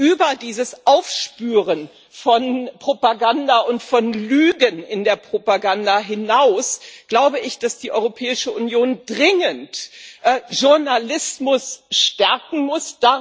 Über dieses Aufspüren von Propaganda und von Lügen in der Propaganda hinaus glaube ich, dass die Europäische Union dringend den Journalismus stärken muss.